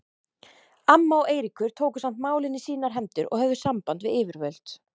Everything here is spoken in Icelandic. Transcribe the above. Amma og Eiríkur tóku samt málin í sínar hendur og höfðu samband við yfirvöld.